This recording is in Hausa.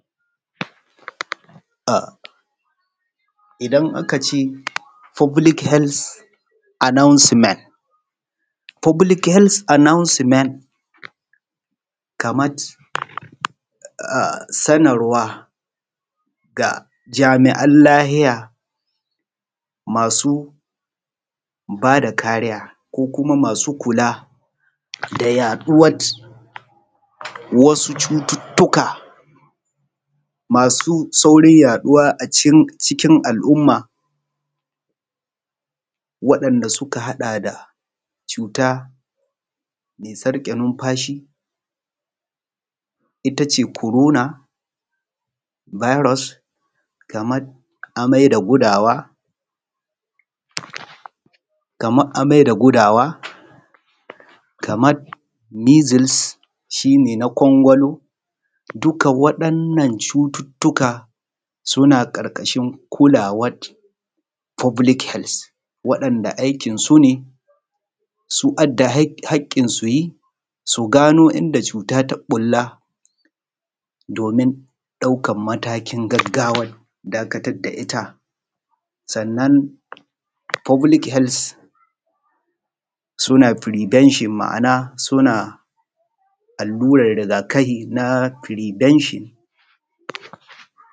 um idan aka ce public healths annoucement. public healths announcement kamat um sanin wa ga jami’an lahiya masu ba da kariya ko kuma masu kula da yaɗuwat wasu cututtuka masu saurin yaɗuwa a cikin jikin al’umma waɗan da suka haɗa da cuta me sarƙe numfashi itace korona biros kamar amai da gudawa kamar amai da gudawa kamar measles shine na kwalkwalo duka waɗan nan cututtuka suna ƙarƙashin kuwar foblik helts waɗannan da aikin su had aikin suyi su gano inda cuta ta bulla domin ɗaukan mataki gaggawa dakatar da ita sannan foblik hels suna prevention ma’ana alluran rigakahi na prevention.